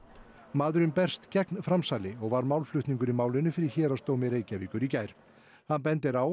maðurinn berst gegn framsali og var málflutningur í málinu fyrir Héraðsdómi Reykjavíkur í gær hann bendir á